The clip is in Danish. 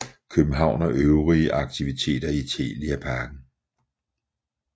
København og øvrige aktiviteter i Telia Parken